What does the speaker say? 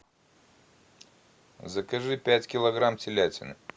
закажи пять килограмм телятины